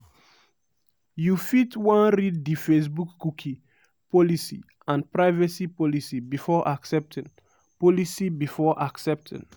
you fit wan read di facebookcookie policyandprivacy policybefore accepting. policybefore accepting.